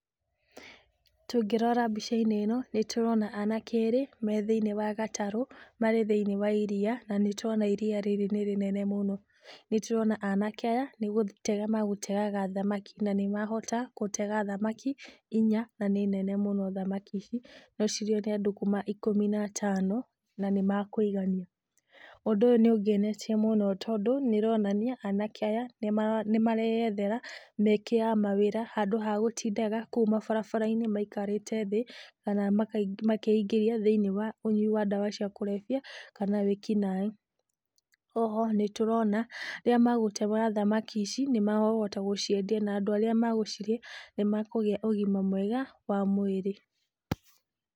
Tungĩrora mbica-inĩ ĩno, nĩtũrona anake erĩ me thĩiniĩ wa gatarũ, marĩ thĩiniĩ wa iria , na nĩ tũrona iria rĩrĩ nĩ rĩnene mũno , nĩtũrona anake aya nĩgũtega magũtegaga thamaki, na nĩ mahota gũtega thamaki inya nene mũno, thamaki ici no cirĩo nĩ andũ kuma ikũmi na atano, na nĩ makũigania , ũndũ ũyũ nĩ ũngenetie mũno tondũ nĩ ũronania anake aya nĩmareyethera mĩeke ya mawĩra handũ ha gũtindaga kũu mabarabara-inĩ maikarĩte thĩ, kana makeingĩria thĩiniĩ wa ndawa cia kurebya, kana wĩkinaĩ , oho nĩtũrona rĩrĩa magũtega thamaki ici nĩmagũciendia na andũ arĩa magũcirĩa , nĩmakũgĩa na ũgima mwega wa mwĩrĩ.